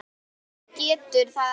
En hann getur það ekki.